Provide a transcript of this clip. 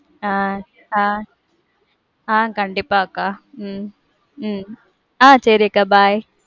ஆஹ் ஆஹ் ஆஹ் கண்டிப்பா அக்கா. உம் உம் ஆஹ் சேரிக்கா, bye.